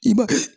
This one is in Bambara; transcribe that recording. I ba